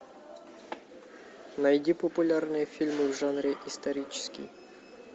найди популярные фильмы в жанре исторический